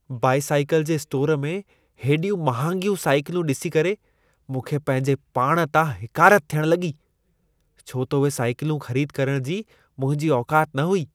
Bicycle जे store में हेॾियूं महांगियूं साइकिलूं ॾिसी करे मूंखे पंहिंजे पाण तां हिकारत थियण लॻी, छो त उहे साईकिलूं ख़रीद करण जी मुंहिंजी औकात न हुई।